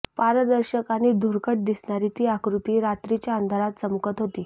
पारदर्शक आणि धुरकट दिसणारी ती आकृती रात्रीच्या अंधारात चमकत होती